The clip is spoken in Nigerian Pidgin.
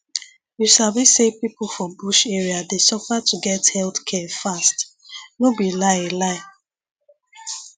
you sabi say people for bush area dey suffer to get health care fast no be lie lie